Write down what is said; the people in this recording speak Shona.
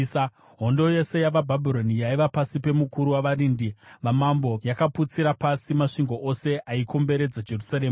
Hondo yose yavaBhabhironi yaiva pasi pemukuru wavarindi vamambo yakaputsira pasi masvingo ose aikomberedza Jerusarema.